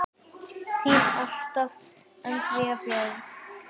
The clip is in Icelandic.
Þín alltaf, Andrea Björk.